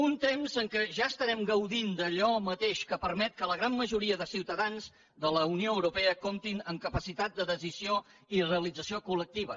un temps en què ja estarem gaudint d’allò mateix que permet que la gran majoria de ciutadans de la unió europea comptin amb capacitat de decisió i realització col·lectiva